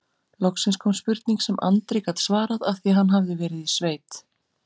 Loksins kom spurning sem Andri gat svarað af því hann hafði verið í sveit